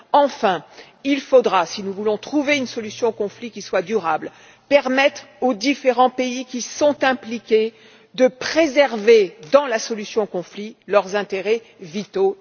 Troisièmement, enfin, il faudra, si nous voulons trouver une solution au conflit qui soit durable, permettre aux différents pays qui sont impliqués de préserver, dans la solution au conflit, leurs intérêts vitaux.